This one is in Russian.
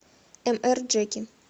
эмэрджеки